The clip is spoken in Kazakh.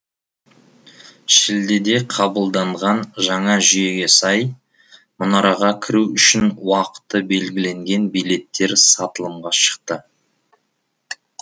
шілдеде қабылданған жаңа жүйеге сай мұнараға кіру үшін уақыты белгіленген билеттер сатылымға шықты